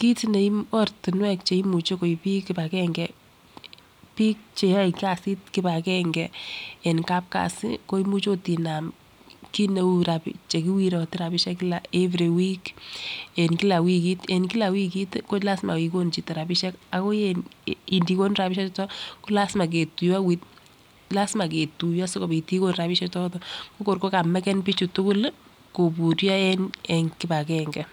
Kit neu ortinwek cheimuche koib bik kipagenge bik. Cheyoe kasit kipagenge en kapkasi ko imuch inam kit neu rab chekiworote rabishek kila every week en kila wikit kolasima ikonu chito rabishek ako mdikonu rabishek chuton kolasima ketuyo lasima ketuyo sikopit ikonu rabishek choton ko kor ko kameken bichu tukul lii koburyo en kipagenge.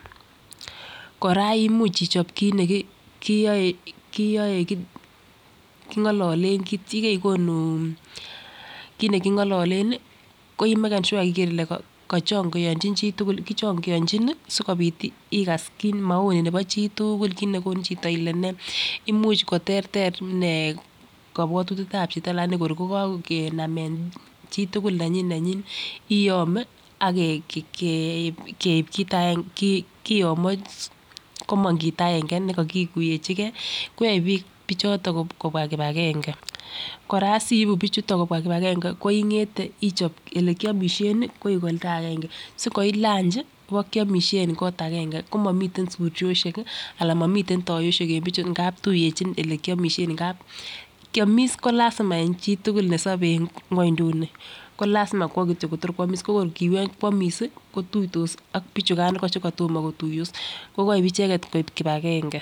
Koraa imuch ichob kit nekiyoe kiyoe kingololen kit yekekonu kit nekingololen nii ko imaken sure ikere Ile kochongiochi chitukul kochongiochi nii sikopit ikas kit maoni nebo chitukul kit nekonu chito Ile nee. Imuch koterter inee kobwotutyetab chito lakini kor ko kakenam en chitukul nenyin nenyin kiyome ak ke keib kit aenge kiyomo komong kita aenge nekokikuyechigeebkoyoe bik choton kobwa kipagenge. Koraa siibu bichuton kobwa kipagenge ko ingete Ichop olekiomishen koik olda aenge si nkoitu lunchi ibokiomishe en kot aenge komomiten shurioshek kii anan momiten yoyoshek en bichu ngapi tuyechin ele kiomishen ngap kiomis ko lasima en chitukul nesobe en gwoinduni ko lasima kwo kityok Kotor kwomis ko kor kibo kwomis sii kotuitoa ak bichukan iko chekotomo. Kotutos ko koib icheket koib kipagenge.